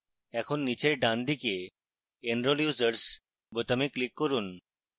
এখন নীচের ডানদিকে enrol users বোতামে click করুন